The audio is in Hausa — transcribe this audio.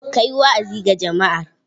Ka yi wa'azi ga jama'ar.